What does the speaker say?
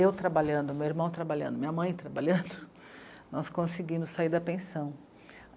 Eu trabalhando, meu irmão trabalhando, minha mãe trabalhando, nós conseguimos sair da pensão.